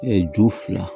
ju fila